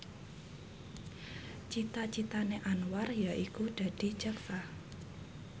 cita citane Anwar yaiku dadi jaksa